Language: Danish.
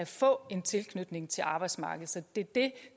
få en tilknytning til arbejdsmarkedet så det er det